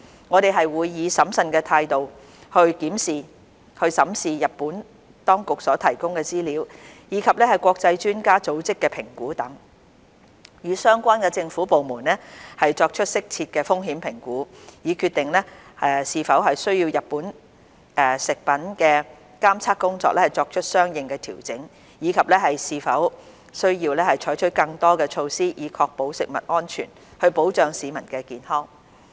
我們會以審慎態度審視日本當局所提供的資料，以及國際專家組織的評估等，與相關政府部門作出適切的風險評估，以決定是否需要就日本食品的監測工作作出相應調整，以及是否需要採取更多措施，以確保食物安全，保障市民的健康。